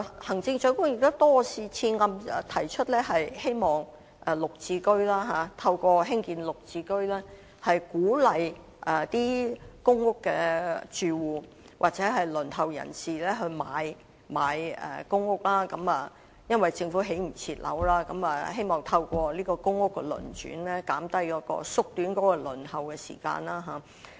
行政長官多次提出希望透過綠表置居計劃鼓勵公屋住戶或輪候人士購買公屋，因為政府未能及時興建樓宇，希望透過公屋的輪轉縮短輪候時間。